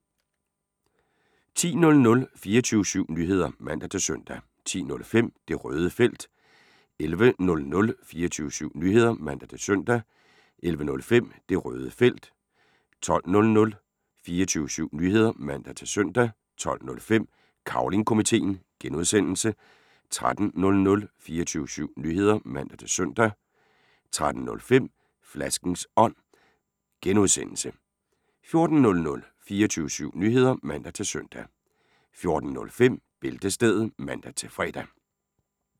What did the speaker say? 10:00: 24syv Nyheder (man-søn) 10:05: Det Røde Felt 11:00: 24syv Nyheder (man-søn) 11:05: Det Røde Felt 12:00: 24syv Nyheder (man-søn) 12:05: Cavling Komiteen (G) 13:00: 24syv Nyheder (man-søn) 13:05: Flaskens Ånd (G) 14:00: 24syv Nyheder (man-søn) 14:05: Bæltestedet (man-fre)